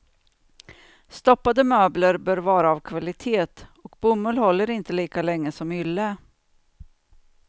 Stoppade möbler bör vara av kvalitet, och bomull håller inte lika länge som ylle.